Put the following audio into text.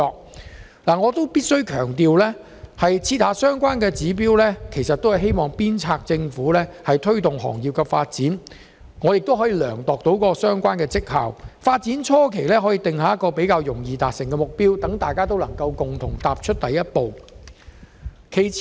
然而，我必須強調，訂立相關指標是為了鞭策政府推動行業發展及量度相關績效，所以在發展初期，政府可以訂立較容易達成的目標，鼓勵大家共同踏出第一步。